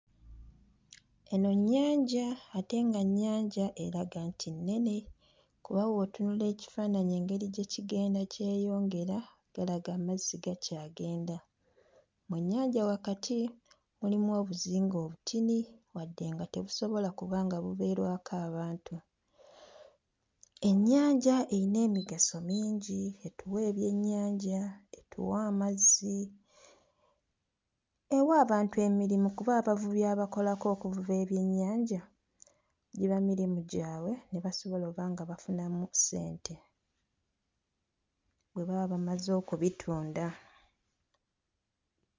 Enno nnyanja ate nga nnyanja eraga nti nnene kuba bw'otunuulira ekifaananyi engeri gye kigenda kyeyongera galaga amazzi gakyagenda. Mu nnyanja wakati mulimu obuzinga obutini wadde nga tebusobola kuba nga bubeerwako abantu. Ennyanja eyina emigaso mingi, etuwa ebyennyanja, etuwa amazzi, ewa abantu emirimu kuba abavubi abakolako okuvuba ebyennyanja giba mirimu gyabwe ne basobola oba nga bafunamu ssente bwe baba bamaze okubitunda.